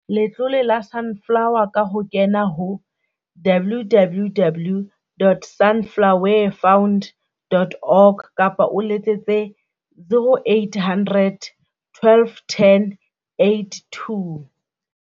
Letlole la Sunflower ka ho kena ho www.sunflowefund.org kapa o letsetse ho 0800 12 10 82.